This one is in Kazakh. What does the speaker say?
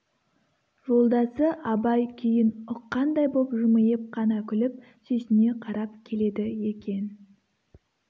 жолдасы абай күйін ұққандай боп жымиып қана күліп сүйсіне қарап келеді екен